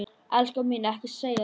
Elskan mín, ekki segja þetta!